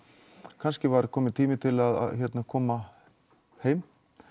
kannski var kominn tími til að koma heim